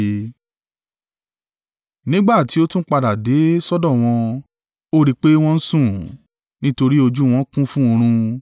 Nígbà tí ó tún padà dé sọ́dọ̀ wọn, Ó rí i pé wọn ń sùn, nítorí ojú wọn kún fún oorun.